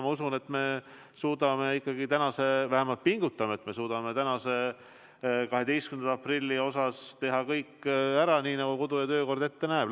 Ma usun, et me suudame ikkagi, kui me pingutame, tänase, 12. aprilli osas teha kõik ära, nii nagu kodu- ja töökord ette näeb.